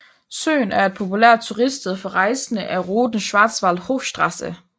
Søen er et populært turiststed for rejsende ad ruten Schwarzwaldhochstraße